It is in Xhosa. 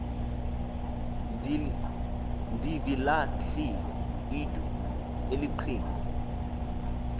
ndivilahlile intw eliqhinga